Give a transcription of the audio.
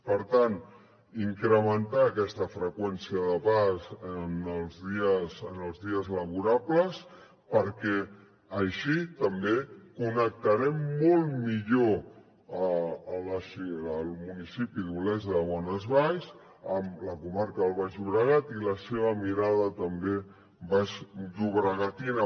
per tant incrementar aquesta freqüència de pas en els dies laborables perquè així també connectarem molt millor el municipi d’olesa de bonesvalls amb la comarca del baix llobregat i la seva mirada també baixllobregatina